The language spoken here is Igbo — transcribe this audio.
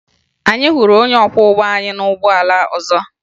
Anyị hụrụ onye ọkwọụgbọ anyị na ụgbọala ọzọ